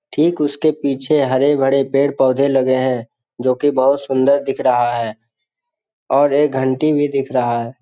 ठीक उसके पीछे हरे-भरे पेड़-पौधे लगे हैं जो की बहुत सुन्दर दिख रहा है और एक घंटी भी दिख रहा है |